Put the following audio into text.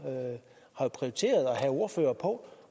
har prioriteret at have ordførere på